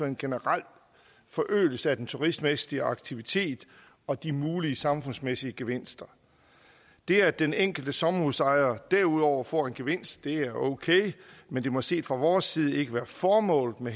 en generel forøgelse af den turistmæssige aktivitet og de mulige samfundsmæssige gevinster det at den enkelte sommerhusejer derudover får en gevinst er okay men det må set fra vores side ikke være formålet med